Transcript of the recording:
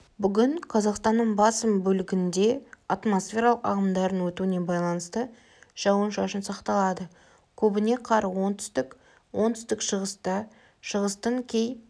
бүгін қазақстанның басым бөлігінде атмосфералық ағымдардың өтуіне байланысты жауын-шашын сақталады көбіне қар оңтүстікте оңтүстік-шығыста шығыстың кей